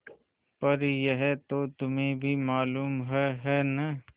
पर यह तो तुम्हें भी मालूम है है न